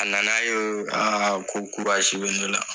A na na ye ko bɛ ne la.